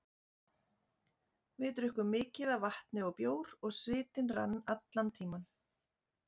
Við drukkum mikið af vatni og bjór og svitinn rann allan tímann.